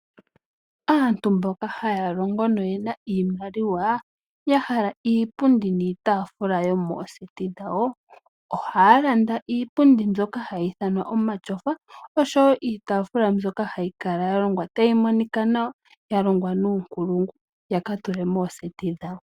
Aantu mboka haya longo noyena iimaliwa, ya hala iipundi niitaafula yomooseti dhawo, ohaya landa iipundi mbyoka hayi ithanwa omatyofa oshowo iitafulwa mbyoka hayi kala ya longwa tayi monika nawa ya longwa nuunkulungu yaka tule mooseti dhawo.